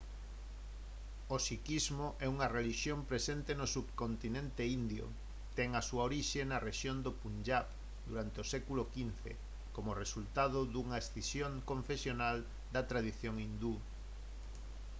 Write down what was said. o sikhismo é unha relixión presente no subcontinente indio ten a súa orixe na rexión do punjab durante o século xv como resultado dunha escisión confesional da tradición hindú